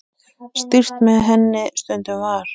Stýrt með henni stundum var.